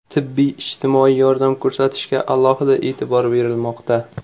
Tibbiy-ijtimoiy yordam ko‘rsatishga alohida e’tibor berilmoqda.